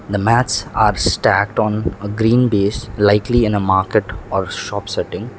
the mats are stacked on a green base likely in a market or shop setting.